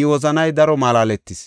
I wozanay daro malaaletis.